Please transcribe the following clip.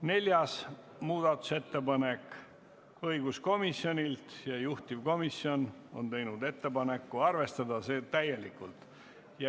Neljas muudatusettepanek on õiguskomisjonilt ja juhtivkomisjon on teinud ettepaneku arvestada seda täielikult.